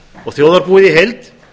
og þjóðarbúið í heild